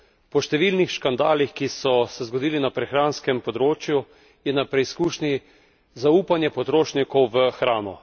Po številnih škandalih, ki so se zgodili na prehranskem področju, je na preizkušnji zaupanje potrošnikov v hrano.